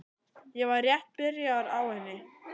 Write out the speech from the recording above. Ég var rétt byrjaður á henni.